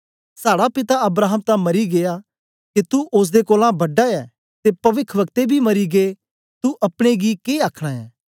साड़ा पिता अब्राहम तां मरी गीया के तू ओसदे कोलां बड़ा ऐ ते पविखवक्तें बी मर गै तू अपने गी के आखना ऐ